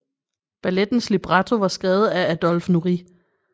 Ballettens libretto var skrevet af Adolphe Nourrit